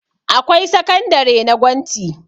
Akwai sakandare na gwanti